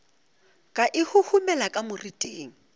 ka e huhumela ka moriting